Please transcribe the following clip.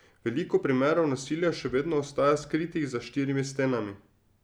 Veliko primerov nasilja še vedno ostaja skritih za štirimi stenami.